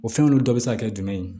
O fɛn olu dɔ be se ka kɛ jumɛn ye